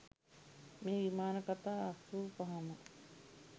මේ විමාන කතා අසූපහම